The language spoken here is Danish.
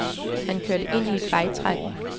Han kørte ind i et vejtræ.